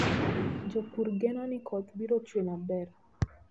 Jopur geno ni koth biro chue maber.